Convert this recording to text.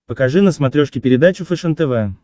покажи на смотрешке передачу фэшен тв